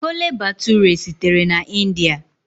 Chole Bhature sitere na India.